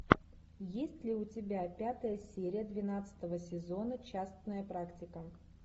есть ли у тебя пятая серия двенадцатого сезона частная практика